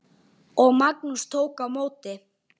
Og Magnús tók á móti?